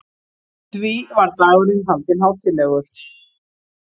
Því var dagurinn haldinn hátíðlegur.